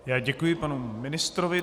Já děkuji panu ministrovi.